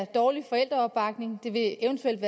dårlig forældreopbakning eventuelt